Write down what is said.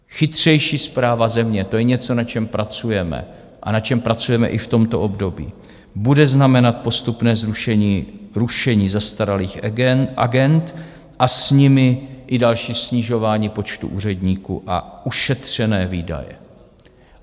Chytřejší správa země, to je něco, na čem pracujeme a na čem pracujeme i v tomto období, bude znamenat postupné rušení zastaralých agend a s nimi i další snižování počtu úředníků a ušetřené výdaje.